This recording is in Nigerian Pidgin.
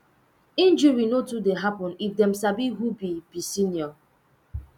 injury no too dey happen if dem sabi who be be senior